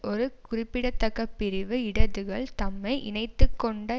ஒரு குறிப்பிடத்தக்க பிரிவு இடதுகள் தம்மை இணைத்துக்கொண்ட